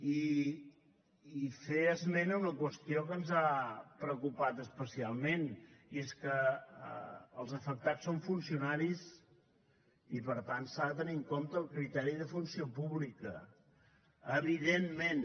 i fer esment d’una qüestió que ens ha preocupat especialment i és que els afectats són funcionaris i per tant s’ha de tenir en compte el criteri de funció pública evidentment